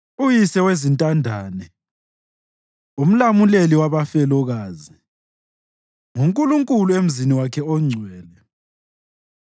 Uyise wezintandane, umlamuleli wabafelokazi, nguNkulunkulu emzini wakhe ongcwele.